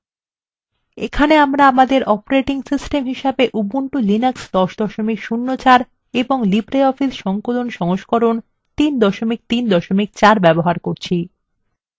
এখানে আমরা আমাদের operating system হিসেবে ubuntu linux 1004 এবং libreoffice সংকলন সংস্করণ 334 ব্যবহার করছি